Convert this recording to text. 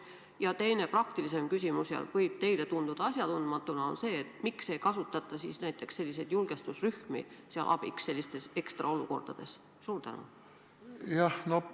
Ja teine, praktilisem küsimus võib tunduda teile asjatundmatu, aga siiski: miks ei kasutata näiteks julgestusrühmi sellistes ekstraolukordades abiks?